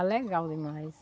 Ah, legal demais.